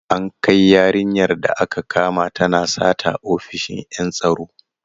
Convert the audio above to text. An kai yarinyar da aka kama tana sata ofishin en tsaro.